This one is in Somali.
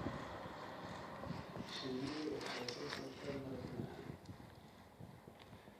Shinnidu waxay soo saartaa malab macaan.